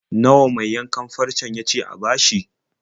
Nawa mai yankan farcen ya ce a bashi?